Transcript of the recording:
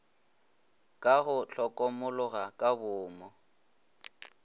ka go hlokomologa ka boomo